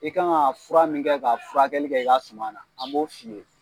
I kan ka fura min kɛ ka furakɛli kɛ i ka suma na an b'o f'i ye